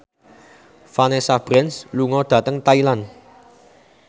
Vanessa Branch lunga dhateng Thailand